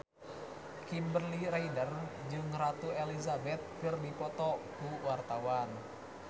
Kimberly Ryder jeung Ratu Elizabeth keur dipoto ku wartawan